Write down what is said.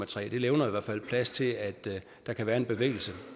tre og det levner i hvert fald plads til at der kan være en bevægelse